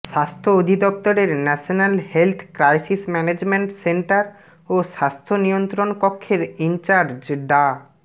স্বাস্থ্য অধিদফতরের national health crisis management centre ও স্বাস্থ্য নিয়ন্ত্রণ কক্ষের ইনচার্জ ডা